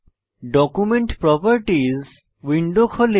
document properties window খোলে